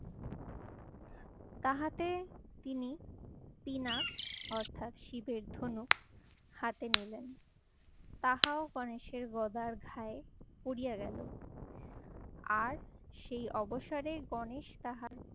তাহাতে তিনি পিনাক অর্থাৎ শিবের ধনুক হাতে নিলেন। তাহাও গনেশের গদার ঘায়ে পড়িয়া গেলো। আর সেই অবসরের গণেশ তাহার